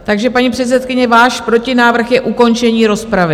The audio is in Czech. Takže paní předsedkyně, váš protinávrh je ukončení rozpravy?